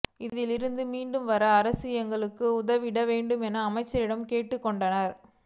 இதில் இருந்து மீண்டு வர அரசு எங்களுக்கு உதவிட வேண்டும் என அமைச்சரிடம் கேட்டுக் கொண்டனர்